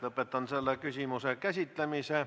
Lõpetan selle küsimuse käsitlemise.